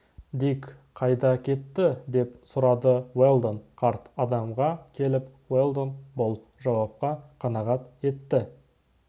дик қайда кетті деп сұрады уэлдон қарт адамға келіп уэлдон бұл жауапқа қанағат етті